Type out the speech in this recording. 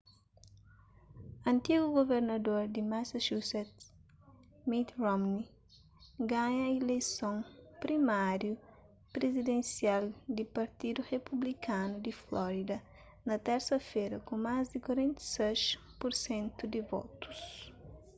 antigu guvernador di massachusetts mitt romney ganha ileison primáriu prizidensial di partidu republikanu di florida na térsa-fera ku más di 46 pur sentu di votus